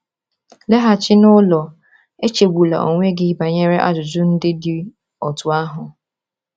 “Laghachi n’ụlọ, echegbula onwe gị banyere ajụjụ ndị dị otú ahụ!”